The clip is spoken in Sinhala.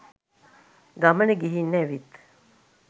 ගමන ගිහින් ඇවිත්